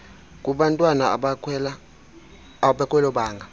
kubantwana abakwelo banga